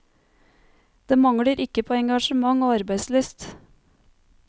Det mangler ikke på engasjement og arbeidslyst.